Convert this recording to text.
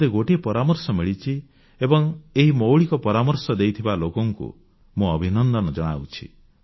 ମୋତେ ଗୋଟିଏ ପରାମର୍ଶ ମିଳିଛି ଏବଂ ଏହି ମୌଳିକ ପରାମର୍ଶ ଦେଇଥିବା ଲୋକଙ୍କୁ ମୁଁ ଅଭିନନ୍ଦନ ଜଣାଉଛି